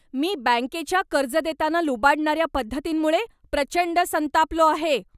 मी बँकेच्या कर्ज देताना लुबाडणाऱ्या पद्धतींमुळे प्रचंड संतापलो आहे.